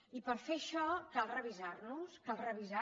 i per fer això cal revisarnos cal revisar